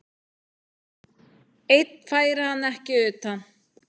Einn færi hann ekki utan.